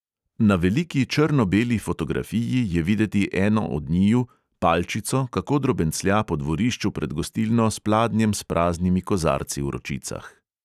Na veliki črno-beli fotografiji je videti eno od njiju, palčico, kako drobenclja po dvorišču pred gostilno s pladnjem s praznimi kozarci v ročicah.